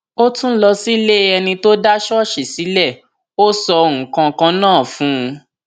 ó tún lọ sílée ẹni tó dá ṣọọṣì sílẹ ó sọ nǹkan kan náà fún un